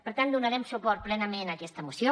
per tant donarem suport plenament a aquesta moció